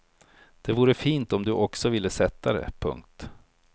Det vore fint om du också ville sätta dig. punkt